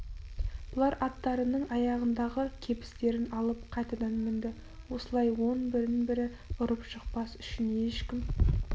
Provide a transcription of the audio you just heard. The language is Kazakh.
бұлар аттарының аяғындағы кебістерін алып қайтадан мінді осылай он бірін бірі ұрып жықпас үшін ешкім